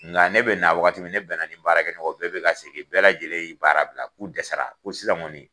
Nga ne bɛ na wagati min ne bɛn na ni n baara kɛ ɲɔgɔn ye o bɛɛ bɛ ka segin bɛɛ lajɛlen ye baara bila k'u dɛsɛra ko sisan kɔni